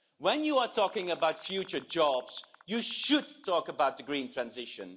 When you are talking about future jobs you should talk about the green transition.